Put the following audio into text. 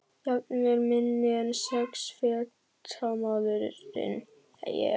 Jafnvel minni en sex feta maðurinn ég.